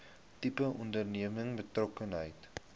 tipe onderneming betrokkenheid